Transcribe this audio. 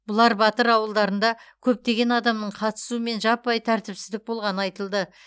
бұлар батыр ауылдарында көптеген адамның қатысуымен жаппай тәртіпсіздік болғаны айтылды